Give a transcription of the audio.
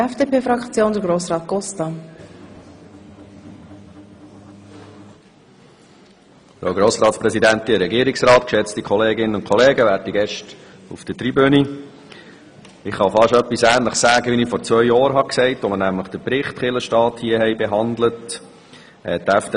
Ich kann fast etwas Ähnliches sagen, wie ich vor zwei Jahren gesagt habe, als wir den Bericht «Kirche und Staat» hier behandelt haben.